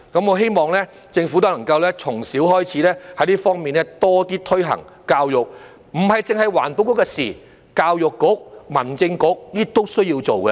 我希望政府都能夠從小開始，在這方面多一點推行教育，這不只是環境局的事情，教育局、民政事務局都需要做。